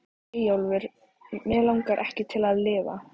Eyjólfur Mig langaði ekki til að lifa.